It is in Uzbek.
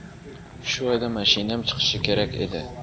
Shu oyda mashinam chiqishi kerak edi.